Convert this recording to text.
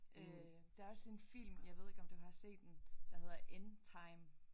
Øh der er også en film jeg ved ikke om du har set den der hedder in time